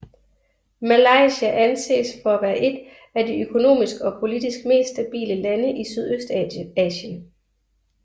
Malaysia anses for at være et af de økonomisk og politisk mest stabile lande i Sydøstasien